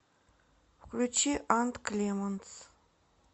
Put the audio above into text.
включи ант клемонс